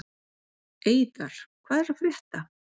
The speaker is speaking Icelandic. Eiðar, hvað er að frétta?